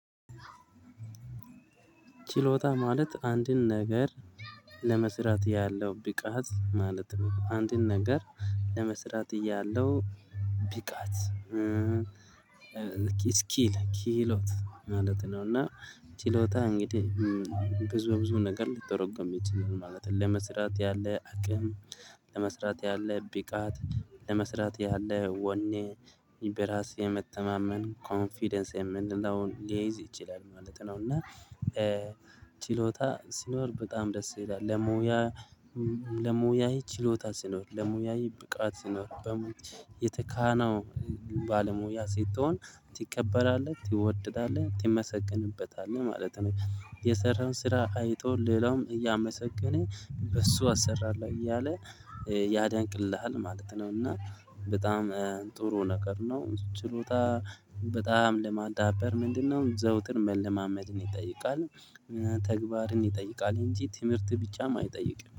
ችሎታ ማለት አንድን ነገር ለመስራት ያለው ብቃት ማለት ነው። አንድን ነገር ለመስራት እያለው ብካት ኪሎት ማለት ነው። እና ችሎታ እንግዲህ ብዙ ብዙ ነገር ሊተረጎም ይችላል ማለት ነው። ለመስራት ያለ አቅም ለመስራት ያለ ብ ቃት ለመስራት ያለ ወኔ ኢም በራስ የመተማመን ኮንፊደንስ የምንለውን ሊያይዝ ይችላል ማለት ነው። እና ችሎታ ሲኖር በጣም ደስ ይላል ለሙያ ለሙያዬ ችሎታ ስኖር ለሙያዬ ብቃት ስኖር የተካነው ባለሙያ ስትሆን ትቀበላለህ ትወደዳለህ ትመሰግንበታለህ ማለት ነው። የሰራህን ስራ አይቶ ሌላውም እያመሰገነ በሱ አሰራለሁ እያለ ያደንቅልሃል ማለት ነው። እና በጣም ጥሩ ነገር ነው። ችሎታ በጣም ለማዳበር ምንድነው? ዘውትር መለማመድ ይጠይቃል ተግባርን ይጠይቃል እንጂ ትምህርት ቢጫም አይጠይቅም